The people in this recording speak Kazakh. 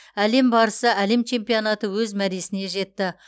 әлем барысы әлем чемпионаты өз мәресіне жетті